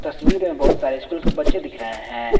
तस्वीर में बहुत सारे स्कूल के बच्चे दिख रहे हैं।